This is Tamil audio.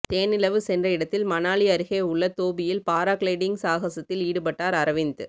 தேனிலவு சென்ற இடத்தில் மணாலி அருகே உள்ள தோபியில் பாராகிளைடிங் சாகசத்தில் ஈடுபட்டார் அரவிந்த்